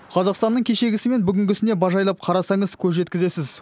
қазақстанның кешегісі мен бүгінгісіне бажайлап қарасаңыз көз жеткізесіз